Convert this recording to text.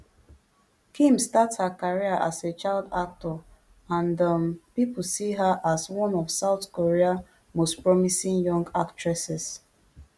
kim start her career as a child actor and um pipo see her as one of south korea most promising young actresses